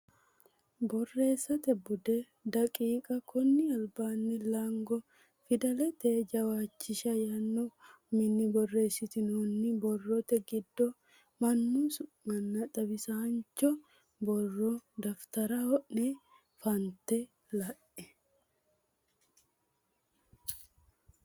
Borreessate Bude daqiiqa konni albaanni Laango Fidalete Jawishsha yaanno uminni borreessitinoonni Borrote giddo mannu su manna xawisaancho borro daftara ne fantine la e.